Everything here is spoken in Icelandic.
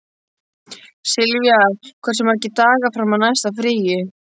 Silvía, hversu margir dagar fram að næsta fríi?